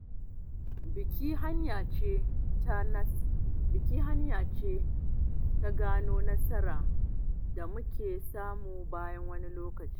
Biki hanya ce ta gano nasarar da muka samu bayan wani lokaci.